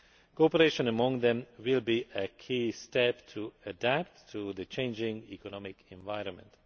Cooperation amongst them will be a key step in adapting to the changing economic environment.